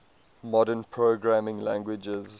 modern programming languages